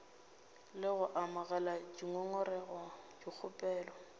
le go amogela dingongorego dikgopelo